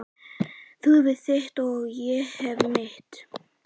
Þú hefur þitt og ég hef mitt.